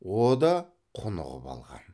о да құнығып алған